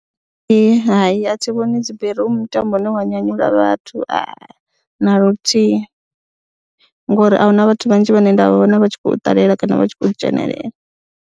Hai, a thi vhoni dzi bere u mutambo une wa nyanyula vhathu na luthihi ngori a hu na vhathu vhanzhi vhane nda vhona vha tshi khou ṱalela kana vha tshi khou dzhenelela.